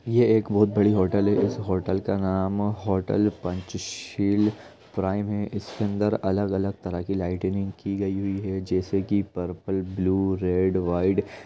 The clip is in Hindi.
यह एक बहुत बड़ी होटल है इस होटल का नाम होटल पंचशील प्राइम है इसके अंदर अलग-अलग तरह के लाइटनिंग की गई हुई है जैसे की पर्पल ब्लू रेड व्हाइट।